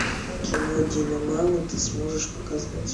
кино диномама ты сможешь показать